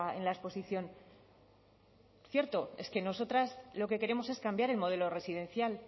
en la exposición cierto es que nosotras lo que queremos es cambiar el modelo residencial